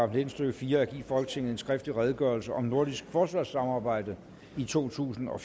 nitten stykke fire at give folketinget en skriftlig redegørelse om nordisk forsvarssamarbejde totusinde og